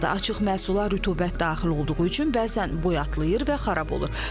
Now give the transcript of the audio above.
Açıq məhsula rütubət daxil olduğu üçün bəzən boyatlayır və xarab olur.